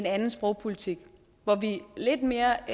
anden sprogpolitik hvor vi lidt mere